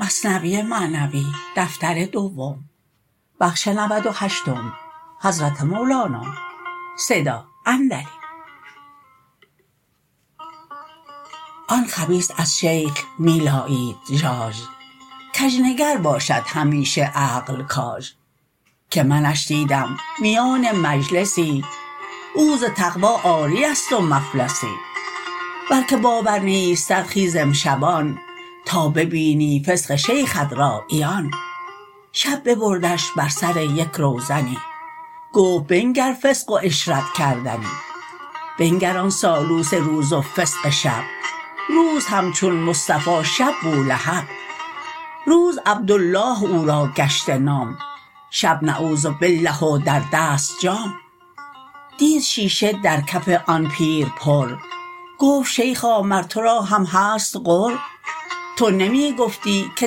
آن خبیث از شیخ می لایید ژاژ کژنگر باشد همیشه عقل کاژ که منش دیدم میان مجلسی او ز تقوی عاریست و مفلسی ورکه باور نیستت خیز امشبان تا ببینی فسق شیخت را عیان شب ببردش بر سر یک روزنی گفت بنگر فسق و عشرت کردنی بنگر آن سالوس روز و فسق شب روز همچون مصطفی شب بولهب روز عبدالله او را گشته نام شب نعوذ بالله و در دست جام دید شیشه در کف آن پیر پر گفت شیخا مر تو را هم هست غر تو نمی گفتی که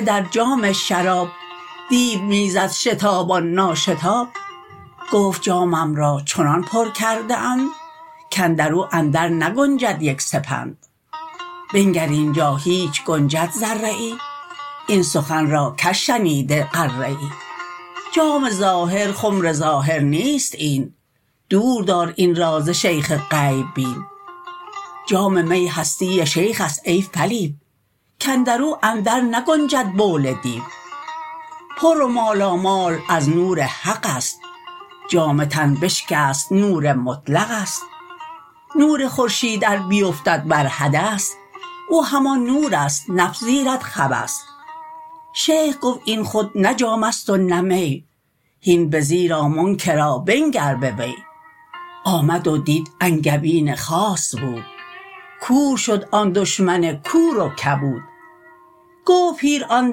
در جام شراب دیو می میزد شتابان نا شتاب گفت جامم را چنان پر کرده اند کاندرو اندر نگنجد یک سپند بنگر اینجا هیچ گنجد ذره ای این سخن را کژ شنیده غره ای جام ظاهر خمر ظاهر نیست این دور دار این را ز شیخ غیب بین جام می هستی شیخست ای فلیو کاندرو اندر نگنجد بول دیو پر و مالامال از نور حقست جام تن بشکست نور مطلقست نور خورشید ار بیفتد بر حدث او همان نورست نپذیرد خبث شیخ گفت این خود نه جامست و نه می هین بزیر آ منکرا بنگر بوی آمد و دید انگبین خاص بود کور شد آن دشمن کور و کبود گفت پیر آن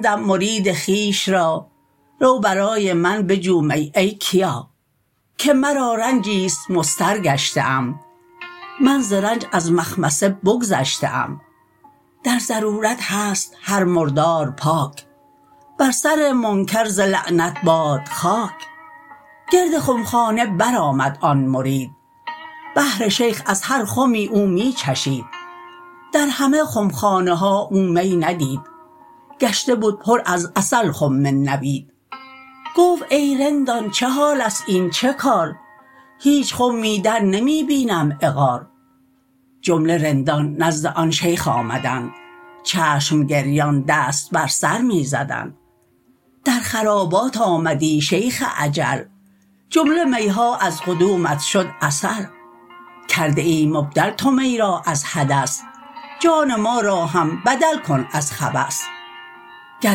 دم مرید خویش را رو برای من بجو می ای کیا که مرا رنجیست مضطر گشته ام من ز رنج از مخمصه بگذشته ام در ضرورت هست هر مردار پاک بر سر منکر ز لعنت باد خاک گرد خمخانه بر آمد آن مرید بهر شیخ از هر خمی او می چشید در همه خمخانه ها او می ندید گشته بد پر از عسل خم نبید گفت ای رندان چه حالست این چه کار هیچ خمی در نمی بینم عقار جمله رندان نزد آن شیخ آمدند چشم گریان دست بر سر می زدند در خرابات آمدی شیخ اجل جمله میها از قدومت شد عسل کرده ای مبدل تو می را از حدث جان ما را هم بدل کن از خبث گر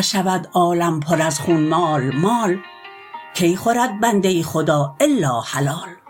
شود عالم پر از خون مال مال کی خورد بنده خدا الا حلال